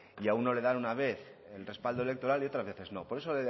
y a uno le dan una vez el respaldo electoral y otras veces no por eso